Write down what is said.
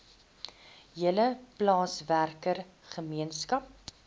hele plaaswerker gemeenskap